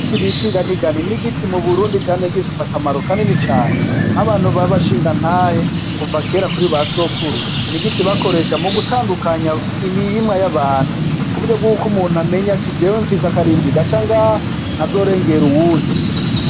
Ibiti bita inganigani n'igiti muburundi camye gifise akamaro kanini cane .Nk'abantu babashingantahe kuvakera kuri basokuru n'igiti bakoresha mugutandukanya imirima y'abantu, kuburyobwuko umuntu amenya ati jew nfise akarimbi gacangaha ntazorengera uwundi.